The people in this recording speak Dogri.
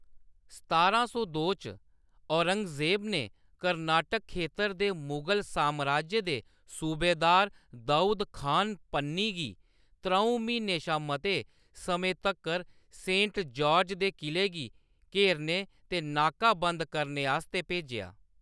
सतारां सौ दो च औरंगजेब ने कर्नाटक खेतर दे मुगल सामराज्य दे सूबेदार दाऊद खान पन्नी गी त्र'ऊं म्हीनें शा मते समें तक्कर सेंट जार्ज दे क़िले गी घेरने ते नाकाबंद करने आस्तै भेजेआ।